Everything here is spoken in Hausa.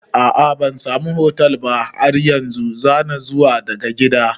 A'a bansamu hostel ba har yanzu, zanna zuwa daga gida